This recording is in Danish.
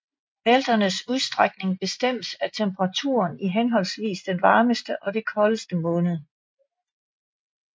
Bælternes udstrækning bestemmes af temperaturen i henholdsvis den varmeste og den koldeste måned